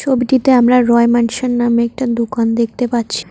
ছবিটিতে আমরা রয় ম্যানসান নামে একটা দোকান দেখতে পাচ্ছি।